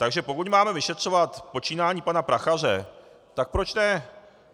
Takže pokud máme vyšetřovat počínání pana Prachaře, tak proč ne?